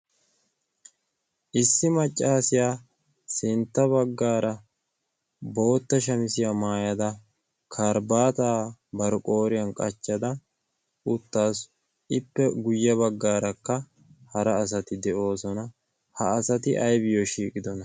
issi maccaasiyaa sintta baggaara bootta shamisiyaa maayada karibaata barqooriyan qachchada uttaasu ippe guyye baggaarakka hara asati de'oosona. ha asati aybiyo shiigidona